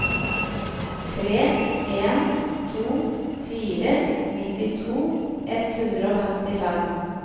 tre en to fire nittito ett hundre og femtifem